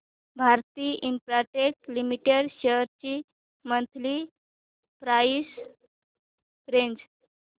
Bharti Infratel limited shares ची monthly price range